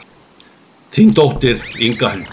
Þín dóttir, Inga Hildur.